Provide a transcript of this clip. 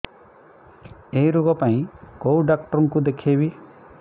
ଏଇ ରୋଗ ପାଇଁ କଉ ଡ଼ାକ୍ତର ଙ୍କୁ ଦେଖେଇବି